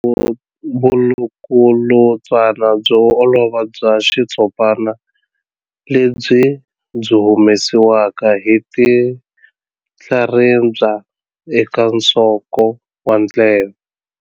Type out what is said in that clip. Vulukulutswana byo olova bya xitshopana lebyi byi humesiwaka hi tinhlaribya eka nsoko wa ndleve.